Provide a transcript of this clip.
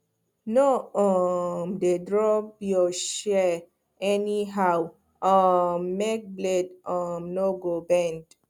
no um dey drop your shears anyhow um make blade um no go bend